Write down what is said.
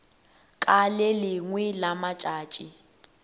ka le lengwe la matšatši